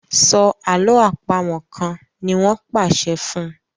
So àlọ́ àpamọ̀ kán!ní wón pàṣẹ fún